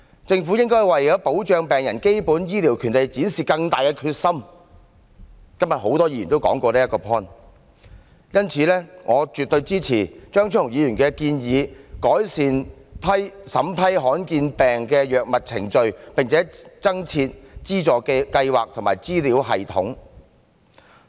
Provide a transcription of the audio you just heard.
政府應該為保障病人的基本醫療權利展示更大的決心——今天多位議員都提到這個 point—— 因此，我絕對支持張超雄議員的建議：改善審批罕見疾病藥物的程序，並增設資助計劃及資料系統。